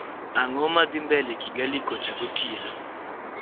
ang`o madhi mbele kigali kocha gotieno